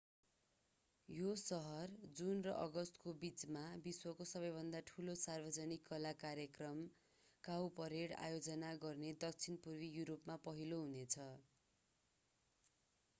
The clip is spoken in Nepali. यो सहर जुन र अगस्तको बिचमा विश्वको सबैभन्दा ठूलो सार्वजनिक कला कार्यक्रम काउपरेड आयोजना गर्ने दक्षिण पूर्वी यूरोपमा पहिलो हुनेछ